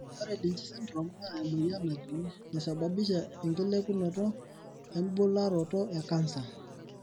Ore Lynch syndrome naa emoyian najung'I naisababisha enkilepunopto embularoto e cancer.